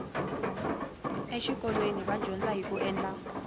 eswikolweni va dyandza hiku endla